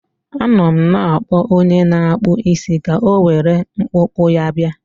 Anọ m na-akpọ onye na-akpụ isi ka o were mkpụkpọ ya bịa.